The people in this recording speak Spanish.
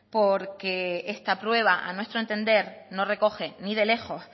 porque esta prueba a nuestro entender no recoge ni de lejos